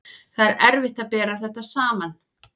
Það er erfitt að bera þetta saman.